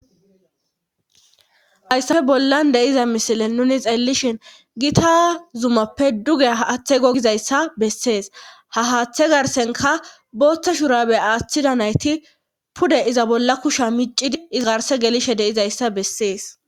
Hayssafe bollan deiza misile nuni xeellishin gita zumappe duge ha aththe gogizayssa bessees ha haaththe garsenka booththa shurabe aaththida nayti pude iza bolla kusha miccidi izgarse gelishe deizayssa bessees